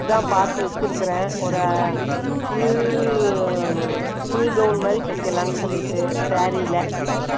அதுதான், பாத்து வச்சிருக்கிறேன். ஒரு, full gown மாதிரி தைக்கலாம்னு சொல்லிட்டு, saree ல,